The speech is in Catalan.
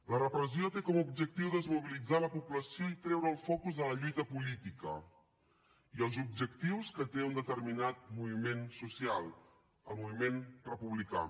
la repressió té com a objectiu desmobilitzar la població i treure el focus de la lluita política i els objectius que té un determinat moviment social el moviment republicà